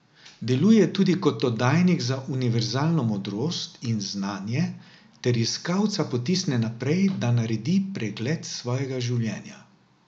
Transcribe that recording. Deluje tudi kot oddajnik za univerzalno modrost in znanje ter iskalca potisne naprej, da naredi pregled svojega življenja.